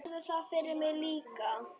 Gerðu það fyrir mig líka.